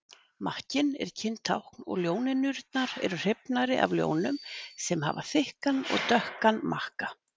Makkinn er kyntákn og ljónynjurnar eru hrifnari af ljónum sem hafa þykkan og dökkan makka.